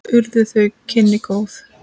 Og urðu þau kynni góð.